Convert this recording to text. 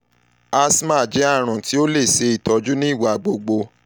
asthma jẹ arun um ti o le ṣe itọju nigbagbogbo ni um homeopathy